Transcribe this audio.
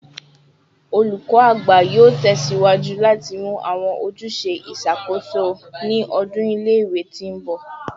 Olukọ Agba yoo tẹsiwaju lati mu awọn ojuse iṣakoso ni ọdun ile-iwe ti nbọ